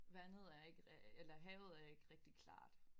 Vandet er ikke eller havet er ikke rigtig klart